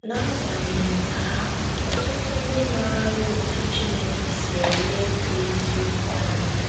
N’agbanyeghị nke ahụ, ọtụtụ ndị maara otú Chineke si ele ikwu eziokwu anya.